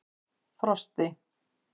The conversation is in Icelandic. Frosti